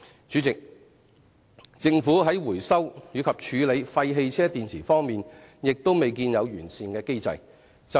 主席，政府在回收及處理廢汽車電池方面亦未見有完善的機制。